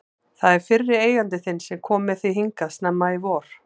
Það er fyrri eigandi þinn sem kom með þig hingað snemma í vor.